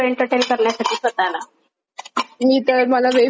मी तर मला web series पाहायचा खूप जास्त नाद आहे.